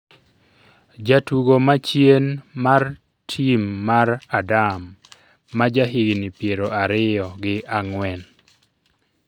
jatugo ma chien mar tim mar Adam, ma jahigni piero ariyo gi ang'wen